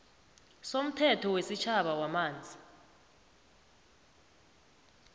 somthetho wesitjhaba wamanzi